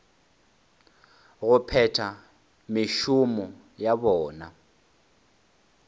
go phetha mešomo ya bona